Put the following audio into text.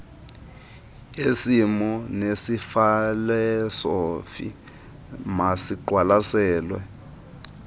yesimo nefilosofi masiqwalasele